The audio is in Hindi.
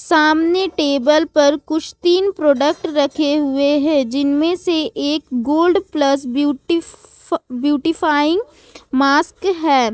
सामने टेबल पर कुछ तीन प्रोडक्ट रखे हुए हैं जिनमें से एक गोल्ड प्लस ब्यूटी फ ब्यूटी फाइन मास्क है ।